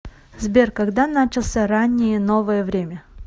сбер когда начался раннее новое время